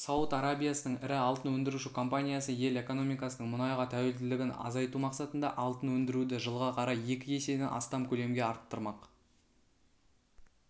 сауд арабиясының ірі алтын өндіруші компаниясы ел экономикасының мұнайға тәуелділігін азайтумақсатында алтын өндіруді жылға қарай екі еседен астам көлемге арттырмақ